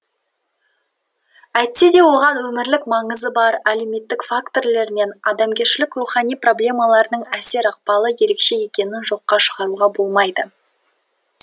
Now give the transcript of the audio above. әйтсе де оған өмірлік маңызы бар әлеуметтік фактілер мен адамгершілік рухани проблемалардың әсер ықпалы ерекше екенін жоққа шығаруға болмайды